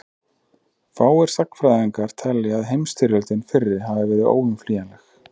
fáir sagnfræðingar telja að heimsstyrjöldin fyrri hafi verið óumflýjanleg